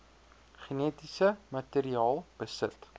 genetiese materiaal besit